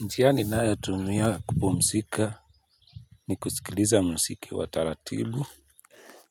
Njia ninayotumia kupumzika ni kusikiliza muziki wa taratibu.